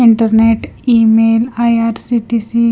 Internet email IRCTC .